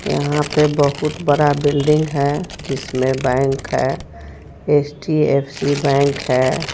यहां पे बहुत बड़ा बिल्डिंग है जिसमें बैंक है एच_डी_एफ_सी बैंक है.